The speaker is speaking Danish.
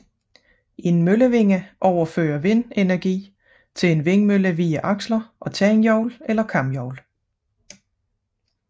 En møllevinge overfører vindenergi til en vindmølle via aksler og tandhjul eller kamhjul